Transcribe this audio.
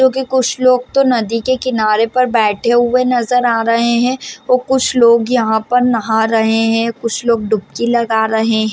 क्युकी कुछ लोग तो नदी के किनारे पर बैठे हुए नज़र आ रहे है और कुछ लोग यहाँ पर नहा रहे है कुछ लोग डुबकी लगा रहे--